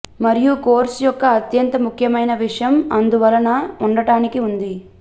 మరియు కోర్సు యొక్క అత్యంత ముఖ్యమైన విషయం అందువలన ఉండటానికి ఉంది